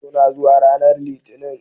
Suna zuwa ranar Litinin